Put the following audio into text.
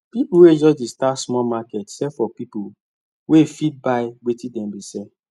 people wey just dey start small market sell for people wey fit buy wetin dem dey sell